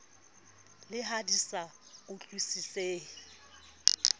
le ha di sa utlwisisehe